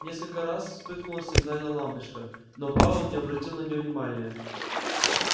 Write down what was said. несколько раз вспыхнула сигнальная лампочка но пауэлл не обратил на неё внимания